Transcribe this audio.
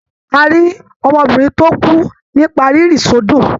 A rí ọmọbìnrin tó kú nípa rírí sódò.